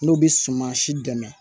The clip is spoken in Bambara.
N'u bɛ suman si dɛmɛ